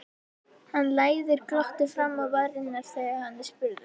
Hann læðir glotti fram á varirnar þegar hann er spurður.